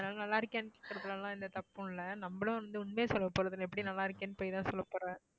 அதனால நல்லாருக்கியா கேக்கறதுலலாம் எந்த தப்பும் இல்லை நம்மளும் வந்து உண்மையை சொல்லப் போறதில்லை எப்படியம் நல்லா இருக்கேன்னு பொய்தான் சொல்லப் போறே